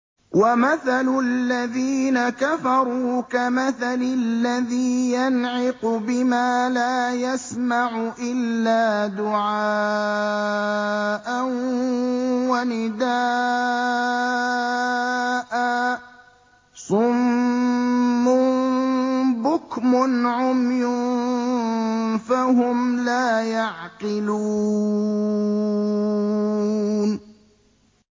وَمَثَلُ الَّذِينَ كَفَرُوا كَمَثَلِ الَّذِي يَنْعِقُ بِمَا لَا يَسْمَعُ إِلَّا دُعَاءً وَنِدَاءً ۚ صُمٌّ بُكْمٌ عُمْيٌ فَهُمْ لَا يَعْقِلُونَ